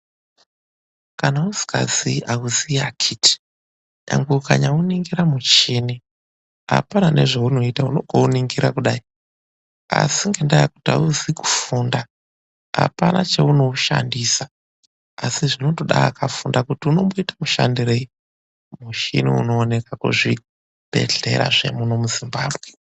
Kana usikazii auzii akhiti. Nyangwe ukanyauningira muchini, apana nezveunoita unongouningira kudai. Asi ngendaa yekuti auzi kufunda, apana cheunoushandisa. Asi zvinotoda akafunda kuti unomboita mushandirei muchini unooneka kuzvibhehlera zvemuno muZimbabwe.